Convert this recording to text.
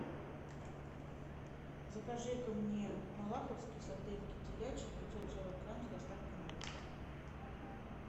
закажи ка мне малаховские сардельки телячьи пятьсот сорок грамм с доставкой на дом